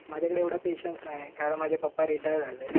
माझ्याकडे एवढा पेशेन्स नाही कारण माझे पप्पा रिटायर झालेत.